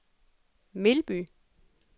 Melby